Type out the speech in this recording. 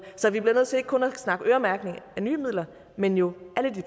så vi bliver nødt til ikke kun at snakke øremærkning af nye midler men jo